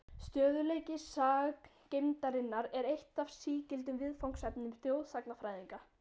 Stöðugleiki sagngeymdarinnar er eitt af sígildum viðfangsefnum þjóðsagnafræðinga.